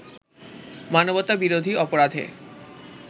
মানবতা বিরোধী অপরাধের